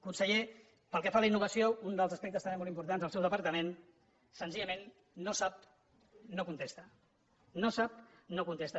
conseller pel que fa a la innovació un dels aspectes també molt importants del seu departament senzillament no sap no contesta no sap no contesta